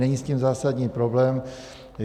Není s tím zásadní problém.